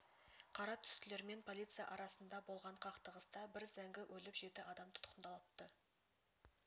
қара түстілер мен полиция арасында болған қақтығыста бір зәңгі өліп жеті адам тұтқындалыпты